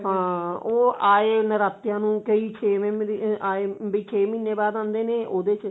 ਹਾਂ ਉਹ ਆਏ ਨਰਾਤਿਆਂ ਨੂੰ ਕਈ ਚੇ hm ਵੀ ਛੇ ਮਹੀਨੇ ਬਾਅਦ ਆਉਂਦੇ ਉਹਦੇ ਵਿੱਚ